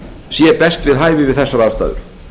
sé best við hæfi við þessar aðstæður